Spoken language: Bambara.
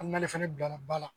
Hali n'ale fana bilara ba la